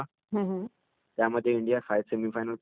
ज्यामध्ये इंडीया सेमीफायनलमध्ये पोचलेली होती